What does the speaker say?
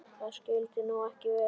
Það skyldi nú ekki vera?